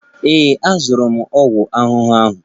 Ee, azụrụ m ọgwụ ahụhụ ahụ.